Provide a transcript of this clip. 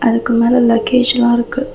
அதுக்கு மேல லக்கேஜ்லா இருக்கு.